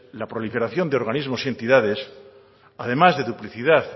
la proliferación de organismos y entidades además de duplicidad